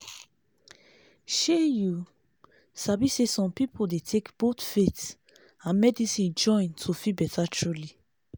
shey you sabi saysome people dey take both faith and medicine join to feel better truly